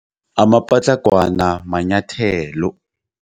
Amapatlagwana manyathelo.